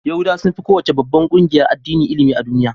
Yahudawa sun fi kowace babbar ƙungiyar addini ilimi a duniya.